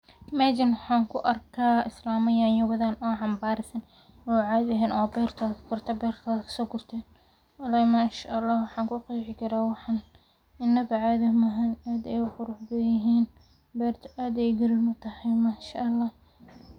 Meshan waxan ku arka Islama nyanya wadhan oo xanbarsan oo cashi ehen oo beertodha kaso gurten, walahi manshaallah waxan ku qeexi karaa waxan in wax qurux badan yihin beerta aad ayey muhiim u tahay manshaallah.